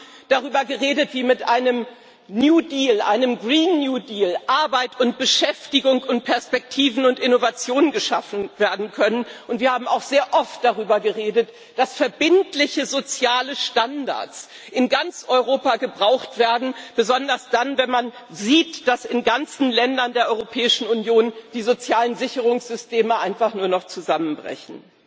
Wir haben darüber geredet, wie mit einem New Deal, einem Green New Deal, Arbeit und Beschäftigung und Perspektiven und Innovation geschaffen werden können, und wir haben auch sehr oft darüber geredet, dass verbindliche soziale Standards in ganz Europa gebraucht werden, besonders dann, wenn man sieht, dass in ganzen Ländern der Europäischen Union die sozialen Sicherungssysteme einfach nur noch zusammenbrechen.